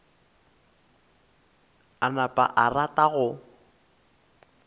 a napa a rata go